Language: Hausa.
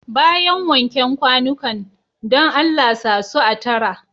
Bayan wanken kwanukan, dan Allah sa su a tara.